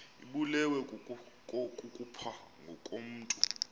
ibulewe kukopha ngokomntu